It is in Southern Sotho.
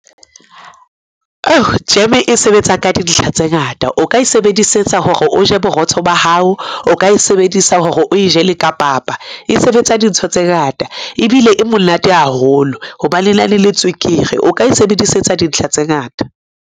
Jeme e sebetsa ka dintlha tse ngata. O ka e sebedisetsa hore o je borotho ba hao, o ka e sebedisa hore o e jele ka papa. E sebetsa dintho tse ngata, ebile e monate haholo hobane na le tswekere. O ka e sebedisetsa dintlha tse ngata.